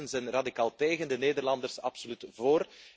De Fransen zijn radicaal tegen, de Nederlanders absoluut vóór.